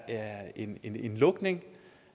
en lukning